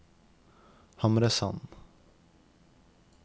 Hamresanden